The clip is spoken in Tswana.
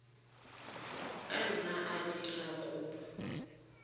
ka nna a dira kopo